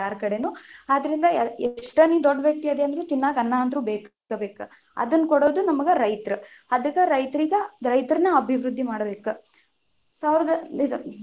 ಯಾರ್ ಕಡೆನೂ ಆದ್ರಿಂದ ಎಷ್ಟೇ ನೀನ್ ದೊಡ್ಡ ವ್ಯಕ್ತಿ ಆದಿ ಅಂದ್ರು ತಿನ್ನಾಕ ಅನ್ನ ಅಂತರು ಬೇಕ ಬೇಕ, ಅದನ್ನ ಕೊಡೋದು ನಮ್ಗ ರೈತರ, ಅದಕ್ಕ ರೈತರಿಗ ರೈತರನ್ನ ಅಭಿವೃದ್ಧಿ ಮಾಡ್ಬೇಕ ಸಾವಿರದ ಇದ.